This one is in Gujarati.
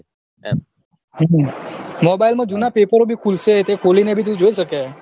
હમ mobile મા જુના પેપરો ભી ખુલશે તે ખોલીને ભી જોઈ સકે